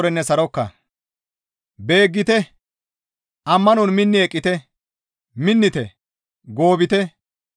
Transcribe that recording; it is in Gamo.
Beeggite! Ammanon minni eqqite; minnite; goobite.